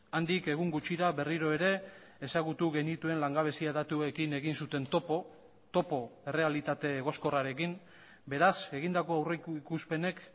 handik egun gutxira berriro ere ezagutu genituen langabezia datuekin egin zuten topo topo errealitate egoskorrarekin beraz egindako aurrikuspenek